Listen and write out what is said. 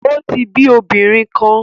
O ti bi obinrin kan